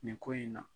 Nin ko in na